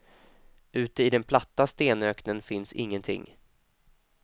Ute i den platta stenöknen finns ingenting.